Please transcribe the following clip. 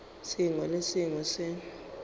sengwe le se sengwe se